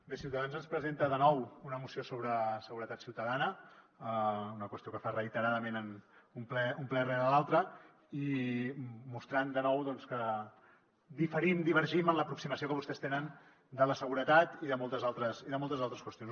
bé ciutadans ens presenta de nou una moció sobre seguretat ciutadana una qüestió que fa reiteradament un ple rere l’altre i mostrant de nou doncs que diferim divergim en l’aproximació que vostès tenen de la seguretat i de moltes altres qüestions